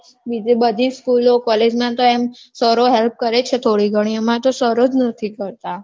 બીજે બધી school ઓ college માં તો એમ sir ઓ help કરે છે થોડી ઘણી અમારે તો sir ઓજ નથી કરતાં